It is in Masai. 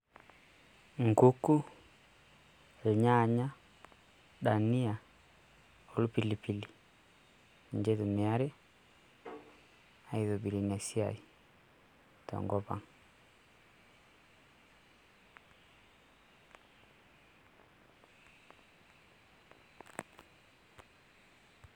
Enkuku, irnyanya, dania orpilipili ninche itumiyai aitobirr ena siai te enkop ang'.